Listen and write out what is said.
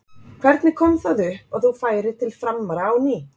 Hvernig kom það upp að þú færir til Framara á ný?